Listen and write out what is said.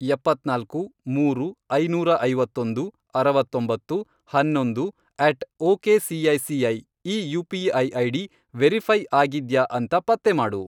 ಎಪ್ಪತ್ನಾಲ್ಕು, ಮೂರು, ಐನೂರ ಐವತ್ತೊಂದು, ಅರವತ್ತೊಂಬತ್ತು, ಹನ್ನೊಂದು, ಅಟ್ ಒಕೆಸಿಐಸಿಐ ಈ ಯು.ಪಿ.ಐ. ಐಡಿ ವೆರಿಫೈ಼ ಆಗಿದ್ಯಾ ಅಂತ ಪತ್ತೆ ಮಾಡು.